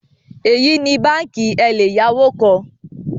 Eyi ni banki eleyawo kan